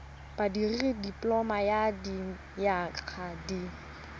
dikirii dipoloma ya dinyaga di